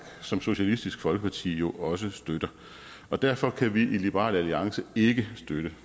som socialistisk folkeparti jo også støtter og derfor kan vi i liberal alliance ikke støtte